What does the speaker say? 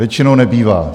Většinou nebývá.